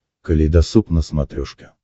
калейдосоп на смотрешке